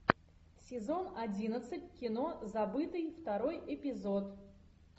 сезон одиннадцать кино забытый второй эпизод